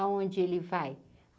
Aonde ele vai?